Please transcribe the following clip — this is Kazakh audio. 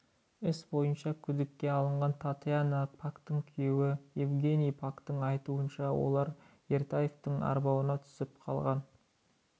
іс бойынша күдікке алынған татьяна пактың күйеуі евгений пактың айтуынша олар ертаевтың арбауына түсіп қалған